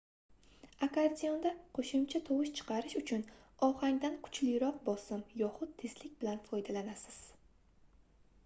akkordeonda qoʻshimcha tovush chiqarish uchun ohangdan kuchliroq bosim yoxud tezlik bilan foydalanasiz